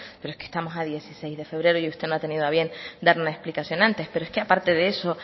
pero es que estamos a dieciséis de febrero y usted no ha tenido a bien dar una explicación antes pero es que aparte de eso